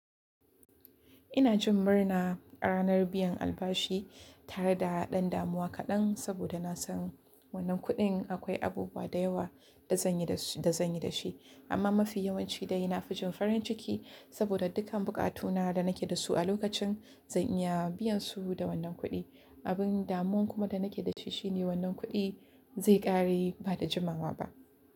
Ina jin murna ranar biyan albashi tare da ɗan damuwa kaɗan saboda na san wannan kuɗin akwai abubuwa da yawa da zanyi dashi da zan yi da shi. Amma mafi yawanci dai ina fjin farin ciki saboda dukkan buƙatuna da nake da su a lokacin zan iya biyan su da wannan kuɗi. Abin damun kuma da nake da shi shine wannan kuɗi zai ƙare ba da jimawa ba.